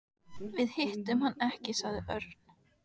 Við hittum hann ekki sagði Örn.